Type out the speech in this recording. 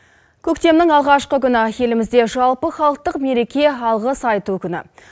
көктемнің алғашқы күні елімізде жалпы халықтық мереке алғыс айту күні